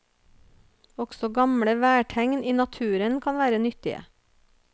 Også gamle værtegn i naturen kan være nyttige.